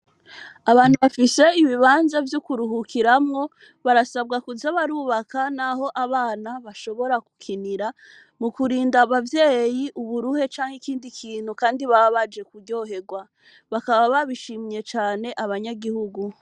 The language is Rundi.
Abantu, bafise ibibanza, vy'ukuruhukiramwo, barasabwa kuza barubaka, n'aho abana bashobora gukinira, mu kurinda abavyeyi, uburuhe canke ikindi kintu, kandi baba baje, kuryoherwa; bakaba babishimye cane, abanyagihugu.